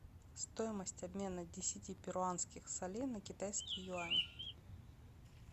стоимость обмена десяти перуанских солей на китайские юани